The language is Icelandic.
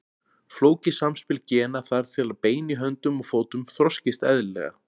Flókið samspil gena þarf til að bein í höndum og fótum þroskist eðlilega.